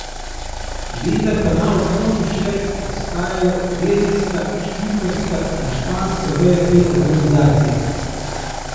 Vendar pa na območju še ostajajo belgijska, švicarska in španska veja te organizacije.